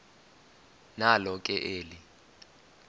nalo ke eli